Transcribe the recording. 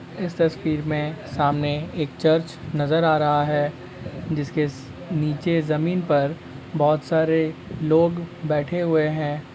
इस तस्वीर में सामने एक चर्च नजर आ रहा है जीसके स् नीचे जमीन पर बहोत सारे लोग बैठे हुए हैं।